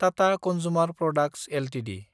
Tata consumer products Ltd